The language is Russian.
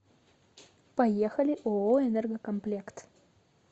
поехали ооо энергокомплект